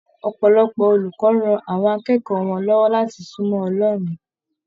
Ọpọlọpọ olùkọ rán àwọn akẹ́kọ̀ọ́ wọn lọwọ láti sunmọ Ọlọrun.